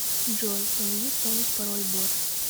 джой помоги вспомнить пороль бот